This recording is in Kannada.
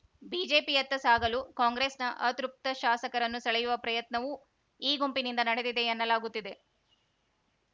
ಬಿಜೆಪಿಯತ್ತ ಸಾಗಲು ಕಾಂಗ್ರೆಸ್‌ನ ಅತೃಪ್ತ ಶಾಸಕರನ್ನು ಸೆಳೆಯುವ ಪ್ರಯತ್ನವೂ ಈ ಗುಂಪಿನಿಂದ ನಡೆದಿದೆ ಎನ್ನಲಾಗುತ್ತಿದೆ